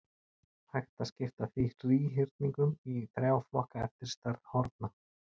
Hægt er að skipta þríhyrningum í þrjá flokka eftir stærð horna.